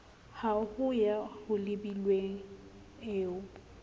ha ho ya holebilwe eo